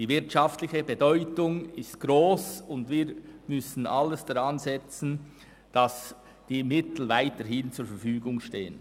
Die wirtschaftliche Bedeutung ist gross, und wir müssen alles daransetzen, damit die Mittel weiterhin zur Verfügung stehen.